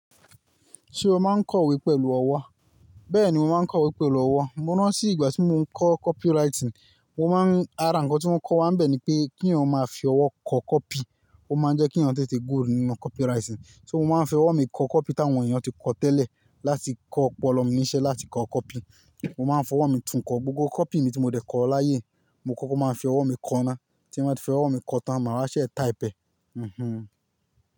Ṣé o máa ń kọ ìwé pẹ̀lú ọwọ́? Bẹ́ẹ̀ni, mo máa ń kọ ìwé pẹ̀lú ọwọ́. Mo rántí ìgbà tí mo ń kọ copywriting, mo máa ń-- ara ǹkan tí wọ́n kọ́ wa ń bẹ̀ ni pé kí èèyàn máa fi ọwọ́ kọ copy, ó máa ń jẹ́ kí èèyàn té té good nínú copywriting. So mo máa ń fi ọwọ́ mi kọ kọ́pì táwọn èèyàn ti kọ tẹ́lẹ̀ láti kọ́ ọ̀pọ̀lọpọ̀ oníṣẹ́ láti kọ kọ́pì. Mo máa ń fọwọ́ mi tún kọ gbogbo kọ́pì mi tí mo dẹ̀ kọ láyé, mo kọ́kọ́ máa ń fi ọwọ́ mi kọ náà, tí mo bá ti fi ọwọ́ mi kọ tán, màá wa sẹ́ taipẹ̀. Mhmm.